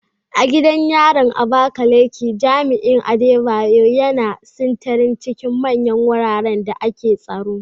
A gidan yarin Abakaleke, jami'in Adebayo, yana sintiri a cikin manyan wuraren da ake tsaro.